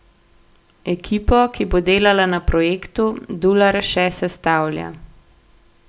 Ekipo, ki bo delala na projektu, Dular še sestavlja.